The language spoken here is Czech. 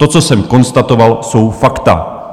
To, co jsem konstatoval, jsou fakta.